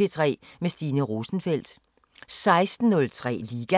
P3 med Stine Rosenfeldt 16:03: Liga